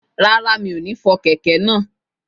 Rárá, mi ò ní fọ kẹ̀kẹ́ náà